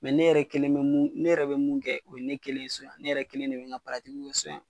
Mɛ ne yɛrɛ kelen bɛ mun kɛ ,ne yɛrɛ bɛ mun kɛ, o ye ne kelen ye so, ne yɛrɛ kelen de bɛ n ka bara so yan.